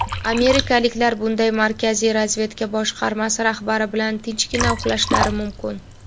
amerikaliklar bunday Markaziy razvedka boshqarmasi rahbari bilan "tinchgina uxlashlari" mumkin.